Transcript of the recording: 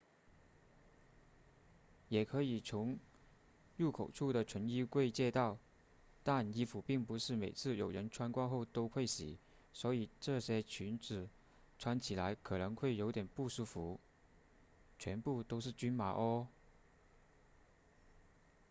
也可以从入口处的存衣柜借到但衣服并不是每次有人穿过后都会洗所以这些裙子穿起来可能会有点不舒服全部都是均码哦